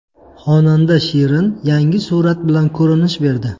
Xonanda Shirin yangi surat bilan ko‘rinish berdi.